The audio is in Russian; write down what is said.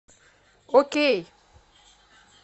окей